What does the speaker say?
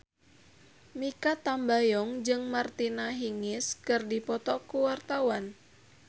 Mikha Tambayong jeung Martina Hingis keur dipoto ku wartawan